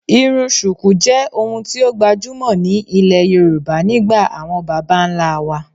irun Shuku je ohun ti o gbajumo ni ile Yoruba nigba awon baba nla wa.